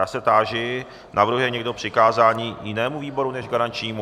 Já se táži - navrhuje někdo přikázání jinému výboru jako garančnímu?